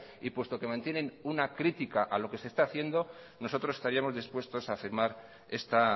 y puesto que mantienen una critica a lo que se está haciendo nosotros estaríamos dispuestos a firmar esta